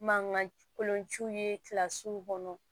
Mankan kolonciw ye kilasiw kɔnɔ